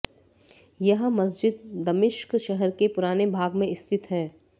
यह मस्जिद दमिश्क़ शहर के पुराने भाग में स्थित है